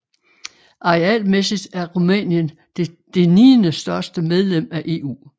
Arealmæssigt er Rumænien det niendestørste medlem af EU